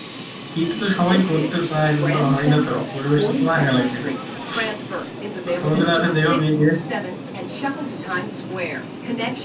শীতে তো সবাই করতে চায় কিন্তু হয়না তো পরিবেশটা তো ফাকা লাগবে টা তোমাদের